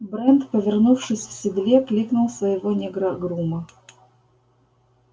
брент повернувшись в седле кликнул своего негра-грума